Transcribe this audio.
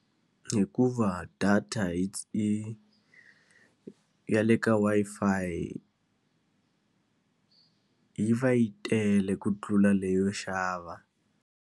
Hikuva data hi yi ya le ka Wi-Fi yi va yi tele ku tlula leyo xava.